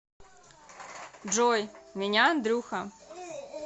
джой меня андрюха